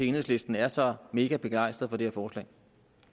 enhedslisten er så mega begejstrede for det her forslag